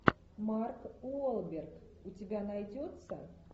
марк уолберг у тебя найдется